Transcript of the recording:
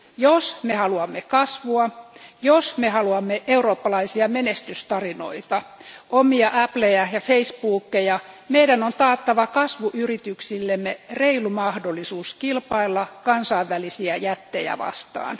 Jos me haluamme kasvua, jos me haluamme eurooppalaisia menestystarinoita, omia Appleja ja Facebookeja, meidän on taattava kasvuyrityksillemme reilu mahdollisuus kilpailla kansainvälisiä jättejä vastaan.